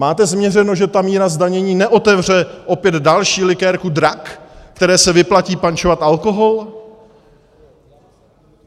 Máte změřeno, že ta míra zdanění neotevře opět další likérku Drak, které se vyplatí pančovat alkohol?